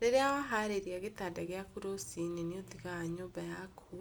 Rĩrĩa waharĩria gĩtanda gĩaku rũci-inĩ nĩũtigaga nyũmba yaku